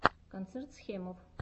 концерт схемов